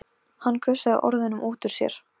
Hann gusaði orðunum út úr sér.